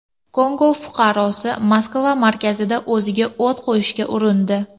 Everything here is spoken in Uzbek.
Kongo fuqarosi Moskva markazida o‘ziga o‘t qo‘yishga urindi.